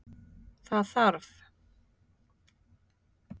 Það þarf